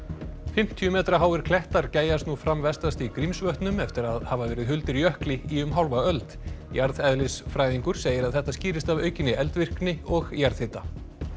fimmtíu metra háir klettar gægjast nú fram vestast í Grímsvötnum eftir að hafa verið huldir jökli í um hálfa öld jarðeðlisfræðingur segir að þetta skýrist af aukinni eldvirkni og jarðhita